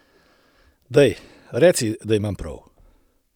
Daj, reci, da imam prav!